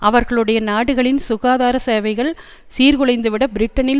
அவர்களுடைய நாடுகளின் சுகாதார சேவைகள் சீர்குலைந்துவிட பிரிட்டனில்